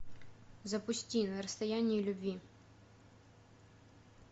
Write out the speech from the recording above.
запусти на расстоянии любви